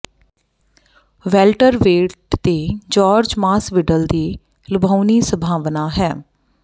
welter weight ਤੇ Jorge Masvidal ਦੀ ਲੁਭਾਉਣੀ ਸੰਭਾਵਨਾ ਹੈ